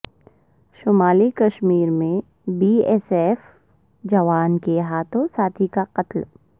شمالی کشمیر میں B S F جوان کے ہاتھوں ساتھی کا قتل